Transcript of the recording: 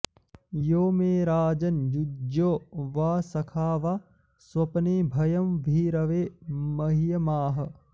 यो मे॑ राज॒न्युज्यो॑ वा॒ सखा॑ वा॒ स्वप्ने॑ भ॒यं भी॒रवे॒ मह्य॒माह॑